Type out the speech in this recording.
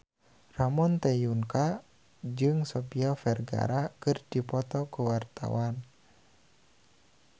Ramon T. Yungka jeung Sofia Vergara keur dipoto ku wartawan